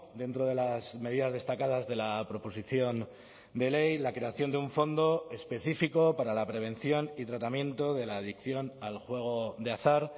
dentro de las medidas destacadas de la proposición de ley la creación de un fondo específico para la prevención y tratamiento de la adicción al juego de azar